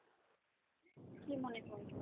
কি মনে হয়?